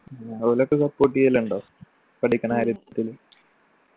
ഉം ഓലൊക്കെ support ചെയ്യലിണ്ടോ പഠിക്കണ കാര്യത്തില്